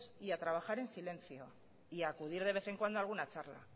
y a trabajar en silencio y acudir de vez en cuando a alguna charla